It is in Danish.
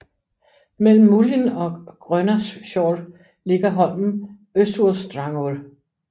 Mellem Múlin og Grønaskor ligger holmen Øssursdrangur